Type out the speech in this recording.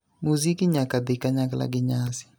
Muziki nyaka dhi kanyakla gi nyasi.